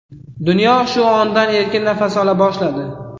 Dunyo shu ondan erkin nafas ola boshladi.